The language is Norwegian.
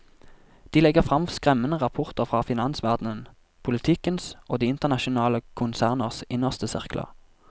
De legger fram skremmende rapporter fra finansverdenen, politikens og de internasjonale konserners innerste sirkler.